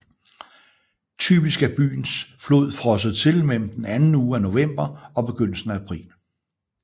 Typisk er byens flod frosset til mellem den anden uge af november og begyndelsen af april